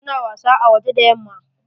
Su na wasa a waje da yamma.